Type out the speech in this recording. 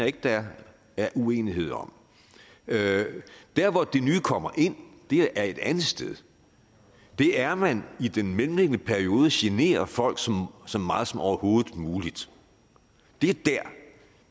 ikke der er uenighed om dér hvor det nye kommer ind er et andet sted og det er at man i den mellemliggende periode generer folk så så meget som overhovedet muligt det er dér